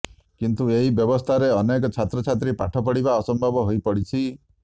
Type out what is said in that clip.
କିନ୍ତୁ ଏହି ବ୍ୟବସ୍ଥାରେ ଅନେକ ଛାତ୍ରଛାତ୍ରୀ ପାଠ ପଢିବା ଅସମ୍ଭବ ହୋଇପଡିଛି